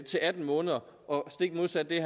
til atten måneder og stik modsat det